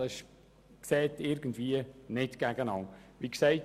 Das schliesst sich gegenseitig aus.